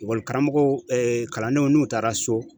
Ekɔlikaramɔgɔw kalandenw n'u taara so